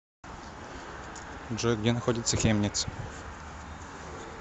джой где находится хемниц